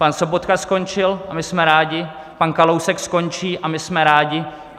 Pan Sobotka skončil, a my jsme rádi, pan Kalousek skončí, a my jsme rádi.